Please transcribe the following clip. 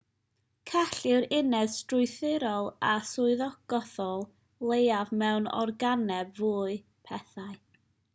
cell yw'r uned strwythurol a swyddogaethol leiaf mewn organeb fyw pethau